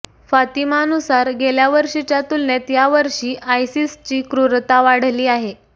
फातिमानुसार गेल्या वर्षीच्या तुलनेत यावर्षी आयसिसची क्रुरता वाढली आहे